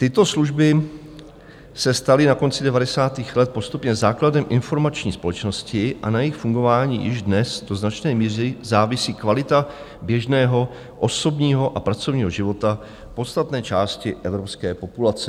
Tyto služby se staly na konci 90. let postupně základem informační společnosti a na jejich fungování již dnes do značné míry závisí kvalita běžného osobního a pracovního života podstatné části evropské populace.